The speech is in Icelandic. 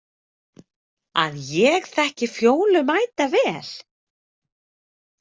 Að ég þekki Fjólu mætavel?